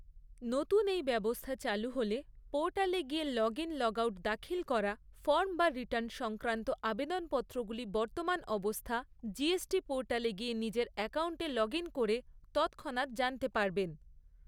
নতুন এই ব্যবস্থা চালু হলে পোর্টালে গিয়ে লগইন লগআউট দাখিল করা ফর্ম বা রিটার্ন সংক্রান্ত আবেদনপত্রগুলি বর্তমান অবস্থা জিএসটি পোর্টালে গিয়ে নিজের অ্যাকাউন্টে লগইন করে তৎক্ষণাৎ জানতে পারবেন।